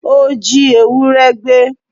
Ó jí ewúrẹ́ gbé